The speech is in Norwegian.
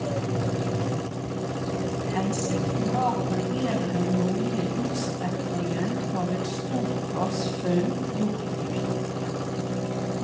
Hensikten var å vurdere den nordlige utstrekningen av et stort gassfunn gjort i fjor.